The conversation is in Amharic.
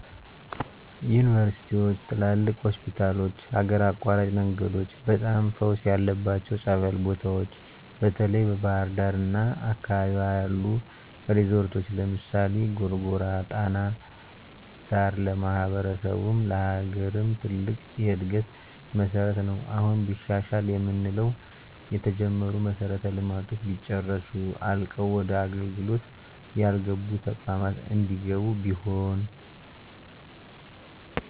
ዩንቨርስቲዎች፣ ትላልቅ ሆስፒታሎች፣ ሀገር አቋራጭ መንገዶች፣ በጣም ፈውስ ያለባቸው ፀበል ቦታዎች፣ በተለይ በባሕር ዳር አና አካባቢዋ ያሉ ሪዞረቶች ለምሳሌ፦ ጎርጎራ ጣና ዳር ለማሕበረሰቡም ለሀገርም ትልቅ የእድገት መሠረት ነው። አሁን ቢሻሻል የምንለው የተጀመሩ መሠረተ ልማቶች ቢጨረሱ፣ አልቀው ወደ አገልግሎት ያልገቡ ተቋማት እንዲገቡ ቢሆን።